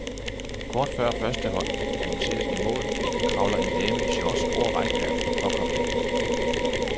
Kort før første hold annonceres i mål kravler en dame i shorts over rækværket for at komme væk.